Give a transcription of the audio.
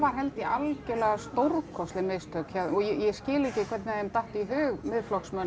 held ég algjörlega stórkostleg mistök og ég skil ekki hvernig þeim datt í hug